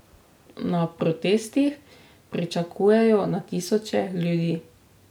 Na protestih pričakujejo na tisoče ljudi.